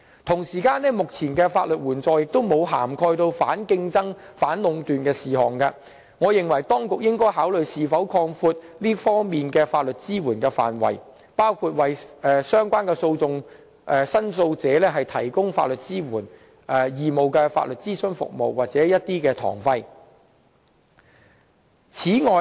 此外，目前的法律援助並無涵蓋反競爭、反壟斷的事宜，我認為當局應該考慮是否擴闊這方面的法律支援的範圍，包括為相關的訴訟申訴者提供法律支援、義務法律諮詢服務或堂費資助。